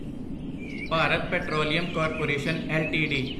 Bharat petroleum corporation LTD